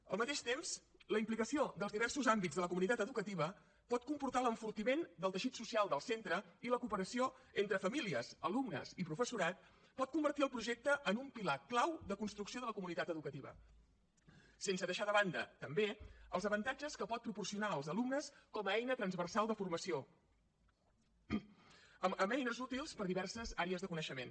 al mateix temps la implicació dels diversos àmbits de la comunitat educativa pot comportar l’enfortiment del teixit social del centre i la cooperació entre famílies alumnes i professorat pot convertir el projecte en un pilar clau de construcció de la comunitat educativa sense deixar de banda també els avantatges que pot proporcionar als alumnes com a eina transversal de formació amb eines útils per a diverses àrees de coneixement